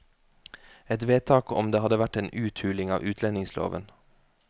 Et vedtak om det hadde vært en uthuling av utlendingsloven.